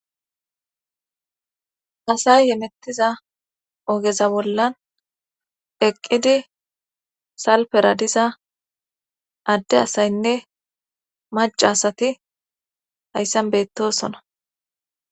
asay hemettiza ogeza bollan eqqidi salpera diza adde asaynne mac asati hayssan beettosona